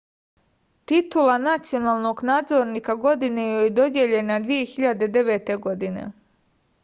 titula nacionalnog nadzornika godine joj je dodeljena 2009. godine